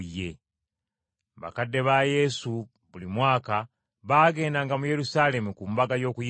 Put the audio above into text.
Bakadde ba Yesu buli mwaka bagendanga mu Yerusaalemi ku Mbaga y’Okuyitako.